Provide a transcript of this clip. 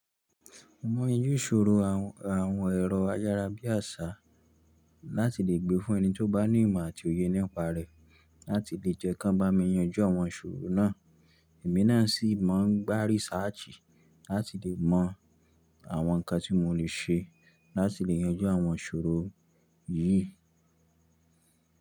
Mo mọ iru ìṣòro àwọn, àwọn ẹ̀rọ ayára bí àṣá láti lè gbé fún ẹni tí ó bá ní ìmọ̀ àti òye nípa rẹ̀, láti lè jẹ́ kí wọ́n bá mi yanjú àwọn ìṣòro náà. Èmi náà sì máa ń gbá risáàtì láti lè mọ àwọn nǹkan tí mo lè ṣe láti lè yanjú àwọn ìṣòro yìí.